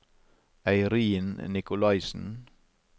Eirin Nicolaisen